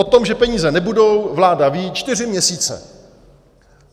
O tom, že peníze nebudou, vláda ví čtyři měsíce.